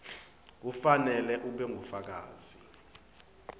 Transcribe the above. kufanele ube ngufakazi